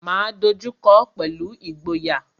Máa dojú kọọ́ pẹ̀lú ìgboyà.